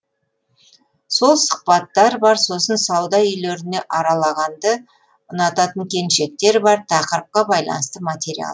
сол сұхбаттар бар сосын сауда үйлеріне аралағанды ұнататын келіншектер бар тақырыпқа байланысты материал